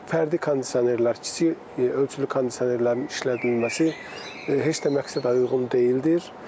Fərdi kondisionerlər, kiçik ölçülü kondisionerlərin işlədilməsi heç də məqsədə uyğun deyildir.